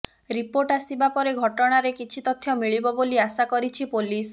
report ଆସିବା ପରେ ଘଟଣାରେ କିଛି ତଥ୍ୟ ମିଳିବ ବୋଲି ଆଶା କରିଛି ପୋଲିସ